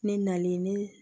Ne nalen ne